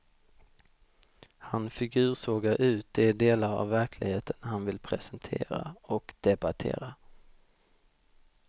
Han figursågar ut de delar av verkligheten han vill presentera och debattera.